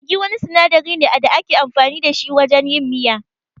Maggi wani sinadari ne da ake amfani da shi wajen yin miya.